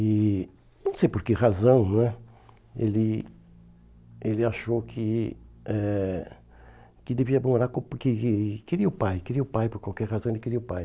E não sei por que razão, não é, ele ele achou que eh que devia morar com, porque queria o pai, queria o pai, por qualquer razão ele queria o pai.